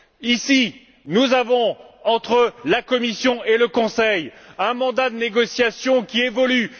Ici, nous avons, entre la Commission et le Conseil, un mandat de négociation qui évolue.